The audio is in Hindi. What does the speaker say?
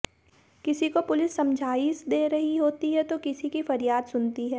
किसी को पुलिस समझाइश दे रही होती है तो किसी की फरियाद सुनती है